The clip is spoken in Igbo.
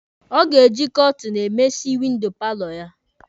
Ọ ga-eji kọọtinụ emesi windo paalọ ya.